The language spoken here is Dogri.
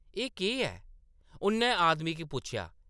“एह्‌‌ केह्‌‌ ऐ ?” उʼन्नै आदमी गी पुच्छेआ ।